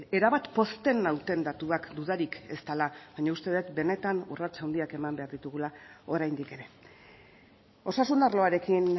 erabat pozten nauten datuak dudarik ez dela baina uste dut benetan urrats handiak eman behar ditugula oraindik ere osasun arloarekin